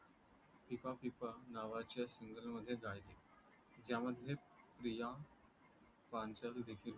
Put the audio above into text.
fifa FIFA नावाच्या सिंगलमध्ये गायले, ज्यामध्ये प्रिया पांचाल देखील